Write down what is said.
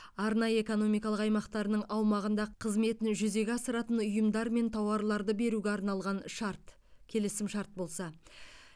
арнайы экономикалық аймақтарының аумағында қызметін жүзеге асыратын ұйымдармен тауарларды беруге арналған шарт келісімшарт болса